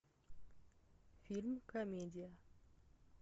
фильм комедия